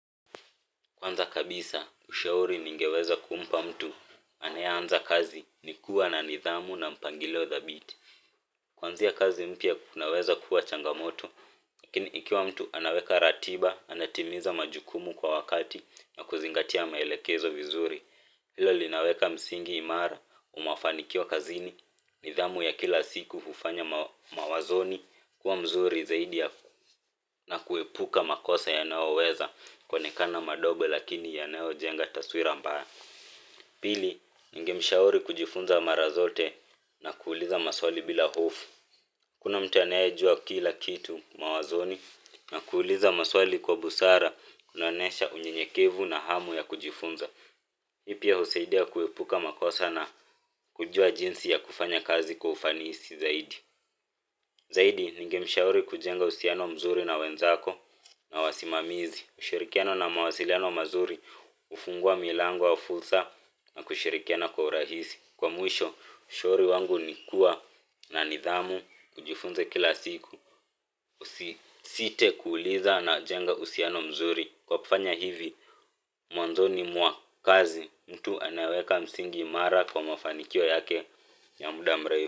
Kwanza kabisa ushauri naoweza kumpa mtu anayeanza kazi ni kuwa na nidhamu na mpangilio thabiti. Kuanzia kazi mpya kunaweza kuwa changamoto lakini ikiwa mtu anaweka ratiba, anatimiza majukumu kwa wakati, na kuzingatia maelekezo vizuri. Hilo linaweka msingi imara wa mafanikio kazini, nidhamu ya kila siku, kufanya mawazoni, kuwa mazuri zaidi na kuepuka makosa yanayoweza kuonekana madogo lakini yanayojenga taswira mbaya. Pili, ningemshauri kujifunza mara zote na kuuliza maswali bila hofu. Hakuna mtu anayejua kila kitu mawazoni, na kuuliza maswali kwa busara kunaonyesha unyenyekevu na hamu ya kujifunza. Hii pia husaidia kuepuka makosa na kujua jinsi ya kufanya kazi kwa ufanisi zaidi. Zaidi, ningemshauri kujenga uhusiano mzuri na wenzako na wasimamizi, ushirikiano na mawasiliano mazuri, kufungua milango ya fursa na kushirikiana kwa urahisi. Kwa mwisho, ushauri wangu ni kuwa na nidhamu na kujifunza kila siku. Usisite kuuliza na jenga uhusiano mzuri. Kwa kufanya hivi, mwanzoni mwa kazi mtu anaweka msingi imara wa mafanikio yake ya muda mrefu.